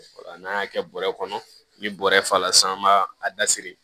Wala n'an y'a kɛ bɔrɛ kɔnɔ ni bɔrɛ fa la san b'a da siri